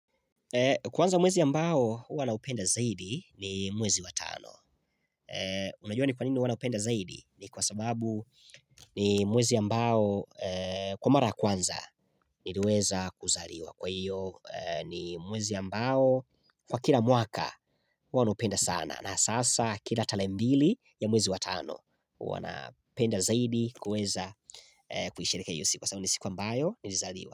Kwanza mwezi mbao ua naupenda zaidi ni mwezi wa tano. Unajua ni kwa nini ua naupenda zaidi? Ni kwa sababu ni mwezi ambao kwa mara kwanza niliweza kuzaliwa Kwa hivyo ni mwezi ambao kwa kila mwaka ua naupenda sana na sasa kila tarehe mbili ya mwezi wa tano ua napenda zaidi kuweza kusherehekea hiyo siku Kwa sababu ni siku mbayo nilizaliwa.